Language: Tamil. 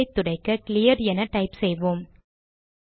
டெர்மினலை துடைக்க கிளியர் என டைப் செய்வோம்